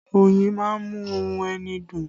Oyin má ń mú ohùn ẹni dùn